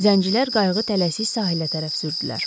Zəncilər qayığı tələsi sahildə tərəf sürdülər.